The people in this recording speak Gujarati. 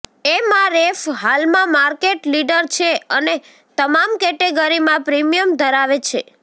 એમઆરએફ હાલમાં માર્કેટ લીડર છે અને તમામ કેટેગરીમાં પ્રીમિયમ ધરાવે છે